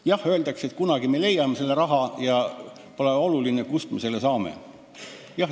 Jah, öeldakse, et kunagi me leiame selle raha ja pole oluline, kust me selle saame.